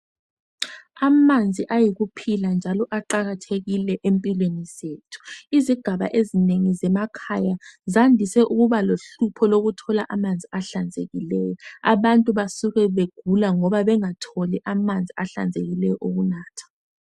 Amanzi ayikuphila njalo aqakathekile empilweni zethu izigaba ezinengi zemakhaya zandise ukuba lohlupho lokuthola amanzi ahlanzekileyo abantu basuke begula ngoba bengatholi amanzi ahlanzekileyo wokunatha